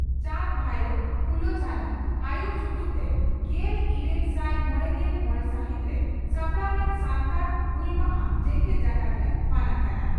ᱪᱟᱸᱫᱽ ᱵᱷᱟᱭᱨᱚ ᱯᱷᱩᱞᱚ ᱡᱷᱟᱱᱚ ᱟᱭᱩᱨ ᱥᱩᱛᱚᱜ ᱛᱮ ᱜᱮᱞ ᱤᱨᱟᱹᱞ ᱥᱟᱭ ᱢᱚᱲᱮᱜᱮᱞ ᱢᱚᱲᱮ ᱥᱟᱦᱤᱛᱨᱮ ᱥᱟᱯᱲᱟᱣ ᱞᱮᱱ ᱥᱟᱱᱛᱟᱲ ᱦᱩᱞ ᱢᱟᱦᱟ ᱡᱮᱜᱮᱛ ᱡᱟᱠᱟᱛᱨᱮ ᱢᱟᱱᱟᱜ ᱠᱟᱱᱟ ᱾